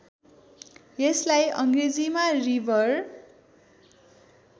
यसलाई अङ्ग्रेजीमा रिभर